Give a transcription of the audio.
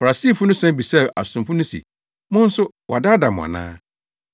Farisifo no san bisaa asomfo no se, “Mo nso wadaadaa mo ana?